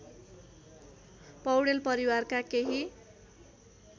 पौडेल परिवारका केही